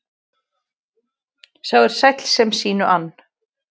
Sá er sæll sem sínu ann.